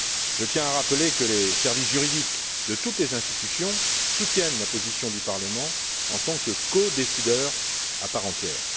Je tiens à rappeler que les services juridiques de toutes les institutions soutiennent la position du Parlement en tant que codécideur à part entière.